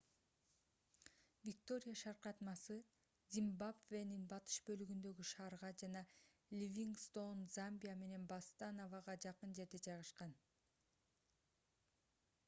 виктория шаркыратмасы зимбабвенин батыш бөлүгүндөгү шаарга жана ливингстоун замбия менен ботсаванага жакын жерде жайгашкан